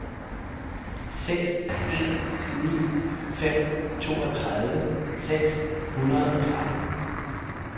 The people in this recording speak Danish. seks en ni fem toogtredive seks hundrede og tretten